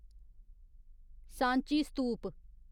Sanchi स्तूप